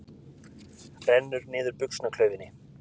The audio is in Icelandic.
Rennir niður buxnaklaufinni.